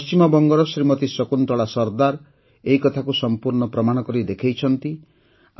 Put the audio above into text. ପଶ୍ଚିମବଙ୍ଗର ଶ୍ରୀମତୀ ଶକୁନ୍ତଳା ସରଦାର ଏହି କଥାକୁ ସମ୍ପୂର୍ଣ୍ଣ ପ୍ରମାଣ କରି ଦେଖାଇଛନ୍ତି